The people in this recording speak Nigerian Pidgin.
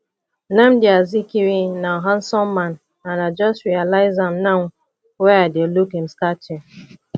nnamdi azikiwe na handsome man and i just realize am now wey i dey look im statue